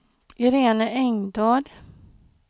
Iréne Engdahl